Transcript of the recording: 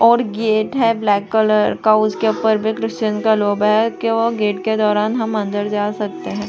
और गेट है black colour का उसके ऊपर विग्द सेन का लोबा है केवल गेट के दौरान हम अंदर जा सकते है।